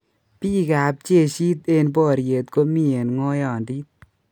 Biik ab jeshit eng' boriet komii eng' ng'oiyondit